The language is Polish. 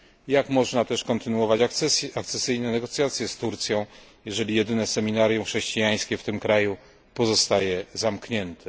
Jak można też kontynuować akcesyjne negocjacje z Turcją, jeżeli jedyne seminarium chrześcijańskie w tym kraju pozostaje zamknięte?